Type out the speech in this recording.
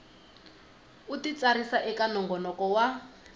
u titsarisa eka nongonoko wa